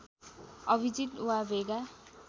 अभिजित वा भेगा